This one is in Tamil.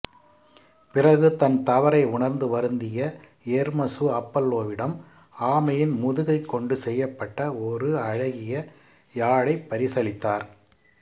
பிறகு தன் தவறை உணர்ந்து வருந்திய எர்மெசு அப்பல்லோவிடம் ஆமையின் முதுகைக் கொண்டு செய்யப்பட்ட ஒரு அழகிய யாழைப் பரிசளித்தார்